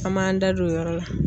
An m'an da don o yɔrɔ la.